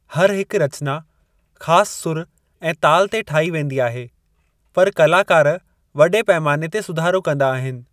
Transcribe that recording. हर हिकु रचना ख़ासि सुर ऐं ताल ते ठाही वेंदी आहे, पर कलाकार वडे॒ पैमाने ते सुधारो कंदा आहिनि।